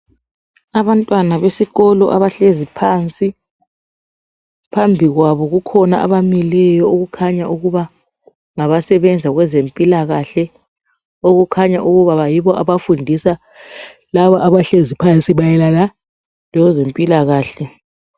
Abantwana besikolo abahlezi phansi phambi kwabo kukhona abamileyo okukhanya ukuba ngabasebenza kwezempilakahle okukhanya ukuba yibo abafundisa laba abahlezi phansi mayelana lezempilakahle.